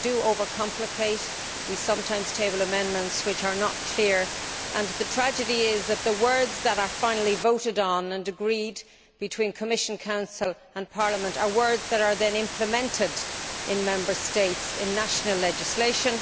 We overcomplicate, we sometimes table amendments that are not clear, and the tragedy is that the words that are finally voted on and agreed between the Commission, the Council and Parliament are words that are then implemented in Member States in national legislation.